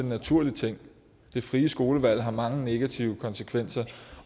naturlig ting det frie skolevalg har mange negative konsekvenser